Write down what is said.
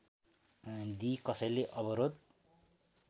दिई कसैले अवरोध